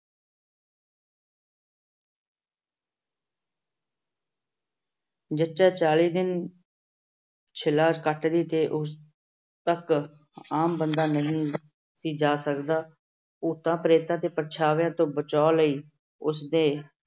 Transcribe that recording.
ਜੱਚਾ ਚਾਲੀ ਦਿਨ ਸ਼ੀਲਾ ਕੱਟਦੀ ਤੇ ਉਸ ਤੱਕ ਆਮ ਬੰਦਾ ਨਹੀਂ ਸੀ ਜਾ ਸਕਦਾ। ਭੂਤਾਂ-ਪ੍ਰੇਤਾਂ ਦੇ ਪਰਛਾਵੇਂ ਤੋਂ ਬਚਾਅ ਲਈ ਉਸ ਦੇ